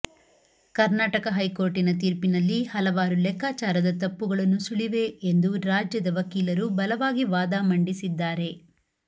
ಕರ್ನಾಟಕ ಹೈಕೋರ್ಟಿನ ತೀರ್ಪಿನಲ್ಲಿ ಹಲವಾರು ಲೆಕ್ಕಾಚಾರದ ತಪ್ಪುಗಳು ನುಸುಳಿವೆ ಎಂದು ರಾಜ್ಯದ ವಕೀಲರು ಬಲವಾಗಿ ವಾದ ಮಂಡಿಸಿದ್ದಾರೆ